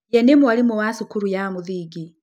Yee nĩ mwarimũ wa cukuru ya mũthingi.